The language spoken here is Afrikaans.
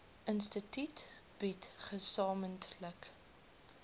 instituut bied gesamentlik